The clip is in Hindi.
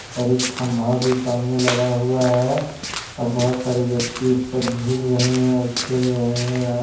और एक खंभा भी सामने लगा हुआ है और बहोत सारी व्यक्ति उस पर झूल रहे हैं और खेल रहे हैं.